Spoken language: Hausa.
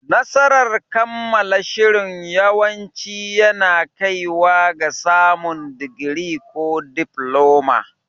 Nasarar kammala shirin yawanci yana kaiwa ga samun digiri ko difloma.